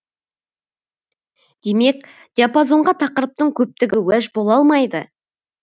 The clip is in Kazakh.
демек диапозонға тақырыптың көптігі уәж бола алмайды